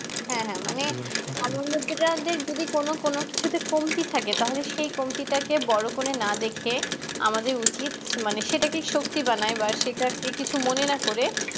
হ্যাঁ হ্যাঁ মানে আমার মধ্যে যাদের যদি কোনো কোনো কিছুতে কমতি থাকে তাহলে সে কমতিটাকে বড়ো করে না দেখে আমাদের উচিত সেটাকে শক্তি বানাই বা সেটাকে কিছু মনে না করে